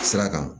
Sira kan